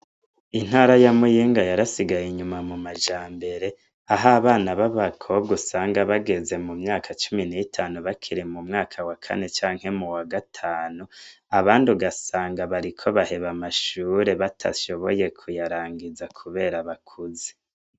Intara ya muyinga yarasigaye inyuma mumajambere ah'abana b'abakobwa usanga bageze mumyaka cumi n'itanu bakiri mu mwaka wakane canke mu wagatanu. Abandi ugasanga bariko baheba amashure batashoboye kuyarangiza kubera abakuze.